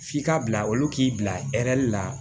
F'i ka bila olu k'i bila hɛrɛ la